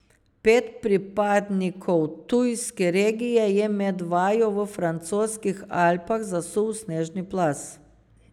Pet pripadnikov tujske legije je med vajo v francoskih Alpah zasul snežni plaz.